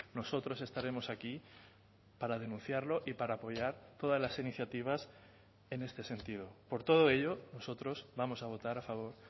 nosotros estaremos aquí para denunciarlo y para apoyar todas las iniciativas en este sentido por todo ello nosotros vamos a votar a favor